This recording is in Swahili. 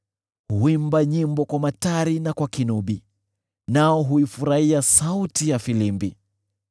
Huimba nyimbo kwa matari na kwa kinubi, nao huifurahia sauti ya filimbi.